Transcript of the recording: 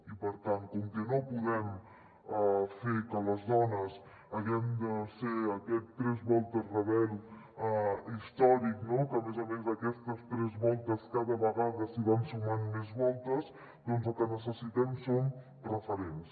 i per tant com que no podem fer que les dones haguem de ser aquest tres voltes rebelno que a més a més a aquestes tres voltes cada vegada s’hi van sumant més voltes doncs el que necessitem són referents